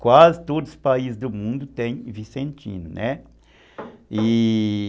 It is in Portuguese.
Quase todos os países do mundo tem vicentino, né? E...